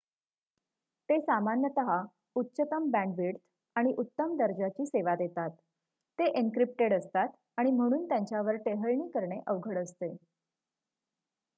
ते सामान्यतः उच्चतम बँडविड्थ आणि उत्तम दर्जाची सेवा देतात ते एनक्रिप्टेड असतात आणि म्हणून त्यांच्यावर टेहळणी करणे अवघड असते